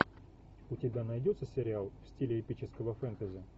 у тебя найдется сериал в стиле эпического фэнтези